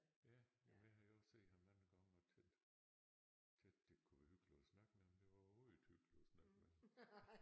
Ja jamen jeg havde også set ham mange gange og tænkt tænkt det kunne være hyggeligt at snakke med ham det var overhovedet ikke hyggeligt at snakke med ham